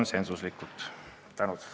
Suur tänu!